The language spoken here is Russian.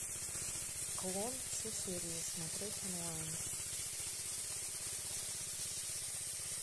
клон все серии смотреть онлайн